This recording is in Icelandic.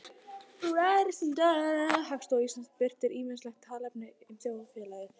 Hagstofa Íslands birtir ýmislegt talnaefni um þjóðfélagið.